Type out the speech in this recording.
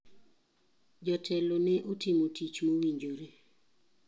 Jotelo ne otimo tich mowinjore.